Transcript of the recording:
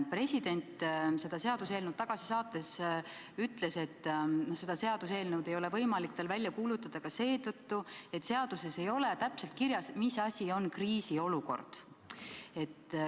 President ütles seda seaduseelnõu tagasi saates, et seda eelnõu ei ole tal võimalik välja kuulutada ka seetõttu, et seaduses ei ole täpselt kirjas, mis asi on kriisiolukord.